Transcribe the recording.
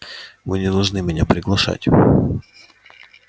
вы не должны меня приглашать